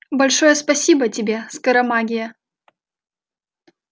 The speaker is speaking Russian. большое спасибо тебе скоромагия